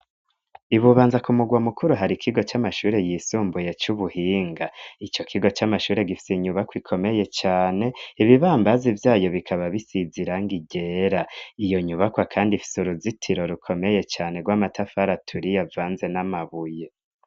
Ibubanza ku mugwa mukuru hari kigo cy'amashure yisumbuye cy'ubuhinga icyo kigo c'amashure gifise inyubakwa ikomeye cyane ibibambazi byayo bikaba bisiziranga igera iyo nyubakwa kandi ifise uruzitiro rukomeye cyane rw'amatafara turi ya vanze n'amabuye.